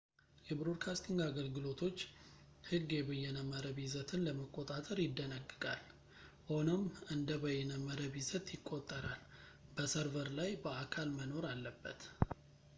የብሮድካስቲንግ አገልግሎቶች ሕግ የበይነመረብ ይዘትን ለመቆጣጠር ይደነግጋል ፣ ሆኖም እንደ በይነመረብ ይዘት ይቆጠራል ፣ በሰርቨር ላይ በአካል መኖር አለበት